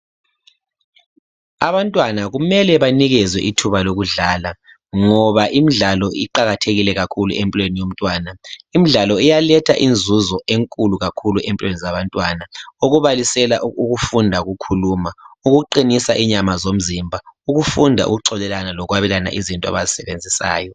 Abantwana kumele banikezwe ithuba lokudlala ngoba imidlalo iqakathekile kakhulu empilweni yomtwana imdlalo iyaletha inzuzo enkulu kakhulu empilweni zabantwana okubalisela ukufunda ukukhuluma ukuqinisa inyama zomzimba ukufunda ukuxolelana lokwabelana izinto abazisebenzisayo